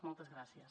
moltes gràcies